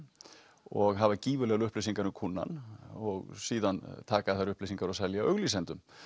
og hafa gífurlegar upplýsingar um kúnnann og síðan taka þær upplýsingar og selja auglýsendum